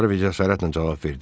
Harve cəsarətlə cavab verdi: